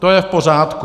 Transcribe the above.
To je v pořádku.